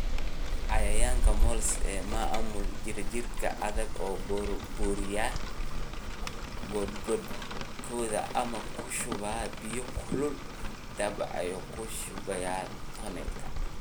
Cayayaanka (Moles) Maamul jiirka jiirka adiga oo burburiya godadkooda ama ku shubaya biyo kulul /dabacyo ku shubaya tunnelka.